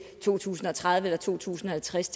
to tusind og tredive eller to tusind og halvtreds